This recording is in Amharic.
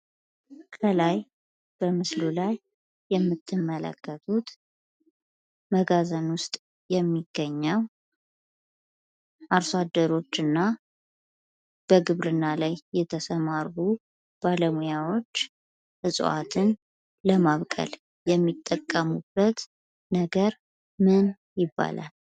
ከላይ በምስሉ ላይ የምትመለከቱት መጋዝን ውስጥ የሚገኘው አርሶ አደሮች እና በግብርና ላይ የተሰማሩ ባለሙያዎች እጽዋትን ለማብቀል የሚጠቀሙበት ነገር ምን ይባላል?